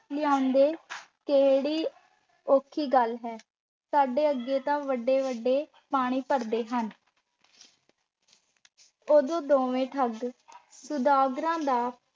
ਲਿਆਂਉਂਦੇ ਕਿਹੜੀ ਔਖੀ ਗੱਲ ਹੈ। ਸਾਡੇ ਅੱਗੇ ਤਾਂ ਵੱਡੇ-ਵੱਡੇ ਪਾਣੀ ਭਰਦੇ ਹਨ। ਉਦੋਂ ਦੋਵੇਂ ਠੱਗ ਸੁਦਾਗਰਾਂ ਦਾ